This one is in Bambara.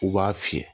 U b'a fiyɛ